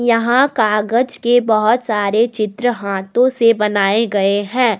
यहां कागज के बहुत सारे चित्र हाथों से बनाए गए हैं।